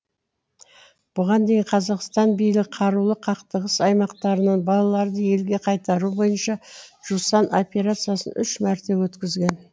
бұған дейін қазақстан билігі қарулы қақтығыс аймақтарынан балаларды елге қайтару бойынша жусан операциясын үш мәрте өткізген